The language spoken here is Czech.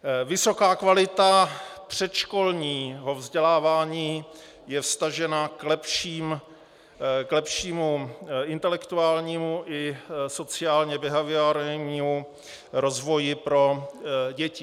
Vysoká kvalita předškolního vzdělávání je vztažena k lepšímu intelektuálnímu i sociálně behaviorálnímu rozvoji pro děti.